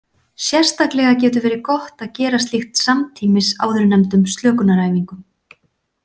Sérstaklega getur verið gott að gera slíkt samtímis áðurnefndum slökunaræfingum.